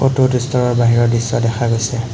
ফটোত ষ্ট'ৰৰ বাহিৰৰ দৃশ্য দেখা গৈছে।